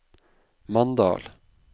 Mandal